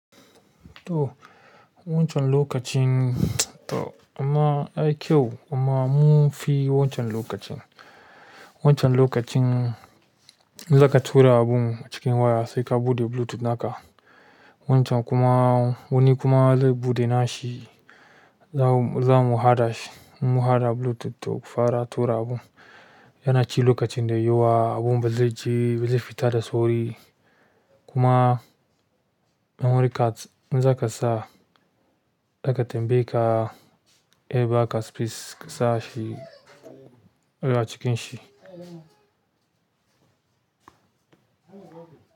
To, wancan lokacin to amma ai kyau amma mun fi wancan lokacin. Wancan lokacin in zaka tura abun a cikin waya sai ka buɗe bluetooth naka. Wancan kuma, wani kuma zai buɗe nashi, zam--, zamu haɗa shi. Mun haɗa bluetooth to fara tura abu. Yana ci lokacin da yawa, abun ba zaije, ba zai fita da sauri kuma in wuri kat in zaka sa, aka tambaye ka, eh ba ka space ka sa shi a cikin shi.